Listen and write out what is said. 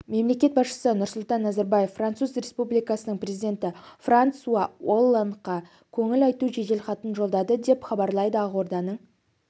мемлекет басшысы нұрсұлтан назарбаев француз республикасының президенті франсуа олландқа көңіл айту жеделхатын жолдады деп хабарлайды ақорданың